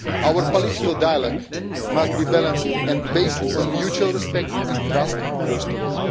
Our political dialogue must be balanced and based on mutual respect and trust first of all.